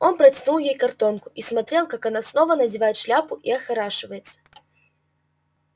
он протянул ей картонку и смотрел как она снова надевает шляпку и охорашивается